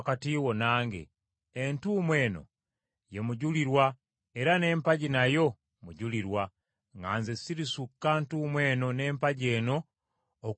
Entuumu eno ye mujulirwa era n’empagi nayo mujulirwa nga nze sirisukka ntuumu eno na mpagi eno okukukola akabi.